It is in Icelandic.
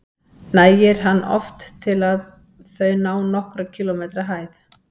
Nægir hann oft til að þau ná nokkurra kílómetra hæð.